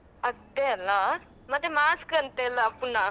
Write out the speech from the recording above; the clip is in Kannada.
ಅದೇ ಅಲ್ಲಾ ಮತ್ತೆ mask ಅಂತೆ ಅಲ್ಲ ಪುನ.